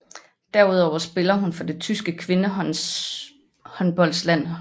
Derudover spiller hun for det tyske kvindehåndboldlandshold